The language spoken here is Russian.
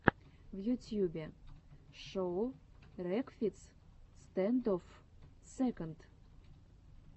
в ютьюбе шоу рекфиц стэндофф сэконд